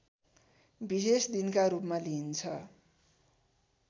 विशेष दिनका रूपमा लिइन्छ